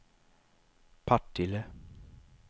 Partille